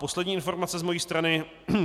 Poslední informace z mojí strany.